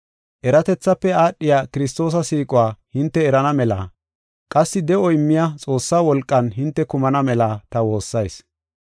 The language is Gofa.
Eratethaafe aadhiya Kiristoosa siiquwa hinte erana mela qassi de7o immiya Xoossaa wolqan hinte kumana mela ta woossayis.